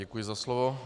Děkuji za slovo.